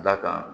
Da kan